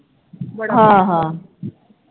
ਹਾਂ ਹਾਂ